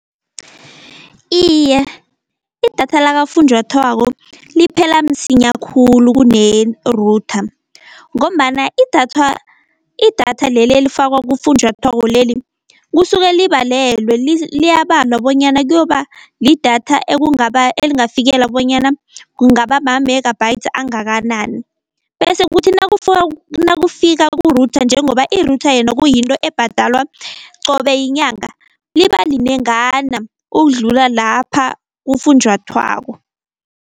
Iye, idatha lakafunjathwako liphela msinya khulu kune-router, ngombana idathwa, idatha leli elifakwa kufunjathwako leli kusuke libalelwe, liyabalwa bonyana kuyoba lidatha elingafikela bonyana kungaba ma-megabytes angakanani. Bese kuthi nakufika ku-router njengoba i-router yena kuyinto ebhadalwa qobe yinyanga liba linengana, ukudlula lapha kufunjathwako.